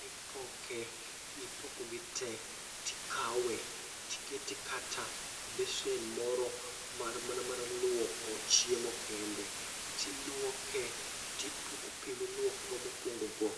mipoke mipokogi te tikawe tikete kata e besen moro mar mana mar luoko chiemo kende. Tiluoke, tipuko pi miluokego mokuongo go,